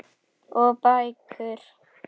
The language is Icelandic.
Og bækur.